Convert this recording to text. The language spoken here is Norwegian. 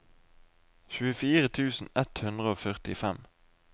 tjuefire tusen ett hundre og førtifem